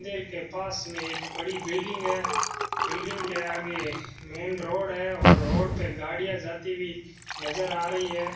मंदीर के पास में एक बड़ी बिल्डिंग है बिल्डिंग के आगे मेन रोड है और रोड पे गाड़ियां जाती हुई नजर आ रही है।